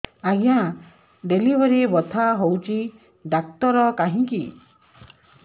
ଆଜ୍ଞା ଡେଲିଭରି ବଥା ହଉଚି ଡାକ୍ତର କାହିଁ କି